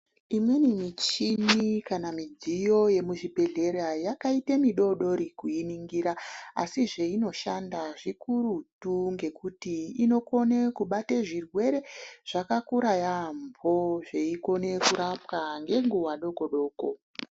Imweni michini kana midziyo yezvibhehlera yakaita midodori kuiningira asi zveinoshanda zvikurutu ngekuti inokone kubata zvirwere zvakakura yaambo zveikona kurapwa ngenguwa doko doko.